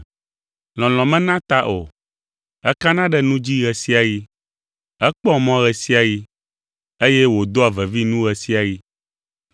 Lɔlɔ̃ menaa ta o, ekana ɖe nu dzi ɣe sia ɣi, ekpɔa mɔ ɣe sia ɣi, eye wòdoa vevi nu ɣe sia ɣi.